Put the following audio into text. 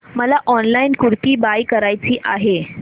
मला online kurti buy करायची आहे